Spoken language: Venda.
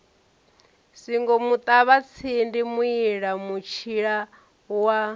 singo muṱavhatsindi muila mutshila wa